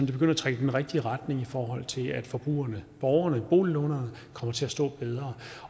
det begynder at trække i den rigtige retning i forhold til at forbrugerne borgerne boliglånerne kommer til at stå bedre